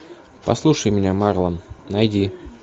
послушай меня марлон найди